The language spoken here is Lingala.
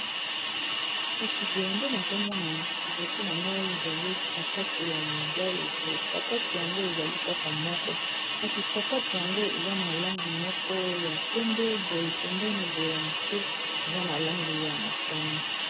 kasi boye nde nazomona liboso na ngai ezali sapato ya mobale poye sapato yango ezali kaka moko kasi sapate yango eza na langi moko ya pembe boye pembeni boye ya moke eza na langi ya motane